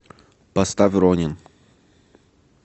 поставь ронин